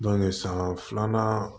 san filanan